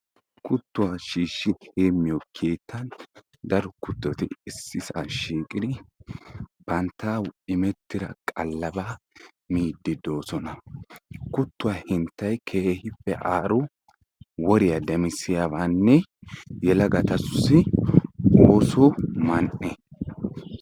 Kuttuwaa shiishi heemmiyo keettani daro kuttoti shiiqi bantta immettida qallaba miiddi deosona. Kuttuwaa henttay keehin woriyaa demisiyabane yelagatussi oosoy man'e.